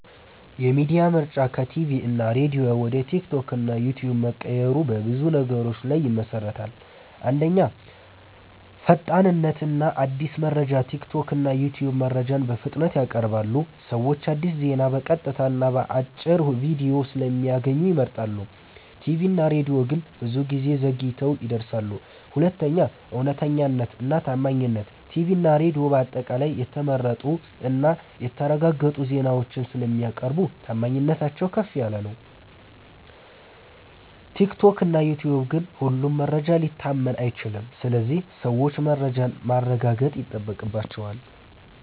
የሚዲያ ምርጫ ከቲቪ እና ሬዲዮ ወደ ቲክቶክ እና ዩትዩብ መቀየሩ በብዙ ነገሮች ላይ ይመሠረታል። 1. ፈጣንነት እና አዲስ መረጃ ቲክቶክ እና ዩትዩብ መረጃን በፍጥነት ያቀርባሉ። ሰዎች አዲስ ዜና በቀጥታ እና በአጭር ቪዲዮ ስለሚያገኙ ይመርጣሉ። ቲቪ እና ሬዲዮ ግን ብዙ ጊዜ ዘግይተው ይደርሳሉ። 2. እውነተኛነት እና ታማኝነት ቲቪ እና ሬዲዮ በአጠቃላይ የተመረጡ እና የተረጋገጡ ዜናዎችን ስለሚያቀርቡ ታማኝነታቸው ከፍ ነው። ቲክቶክ እና ዩትዩብ ግን ሁሉም መረጃ ሊታመን አይችልም ስለዚህ ሰዎች መረጃን ማረጋገጥ ይጠበቅባቸዋል።